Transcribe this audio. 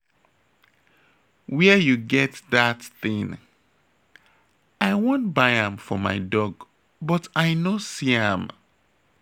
Where you get dat thing? I wan buy am for my dog but I no see am